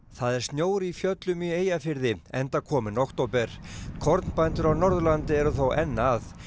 það er snjór í fjöllum í Eyjafirði enda kominn október kornbændur á Norðurlandi eru þó enn að